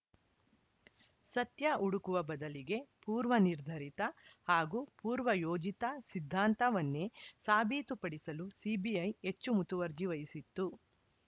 ಸತ್ಯ ಹುಡುಕುವ ಬದಲಿಗೆ ಪೂರ್ವನಿರ್ಧರಿತ ಹಾಗೂ ಪೂರ್ವಯೋಜಿತ ಸಿದ್ಧಾಂತವನ್ನೇ ಸಾಬೀತುಪಡಿಸಲು ಸಿಬಿಐ ಹೆಚ್ಚು ಮುತುವರ್ಜಿ ವಹಿಸಿತ್ತು